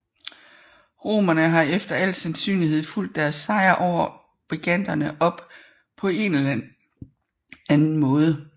Romerne har efter alt sandsynlighed fulgt deres sejr over briganterne op på en eller anden måde